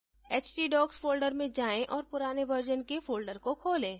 htdocs folder में जाएँ और पुराने version के folder को खोलें